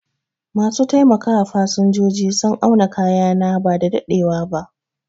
Ma su taimaka wa fasinjoji sun auna kayana bada daɗewa ba